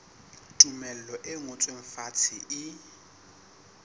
tumello e ngotsweng fatshe e